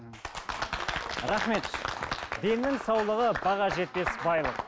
рахмет деннің саулығы баға жетпес байлық